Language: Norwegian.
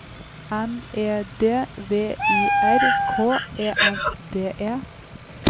M E D V I R K E N D E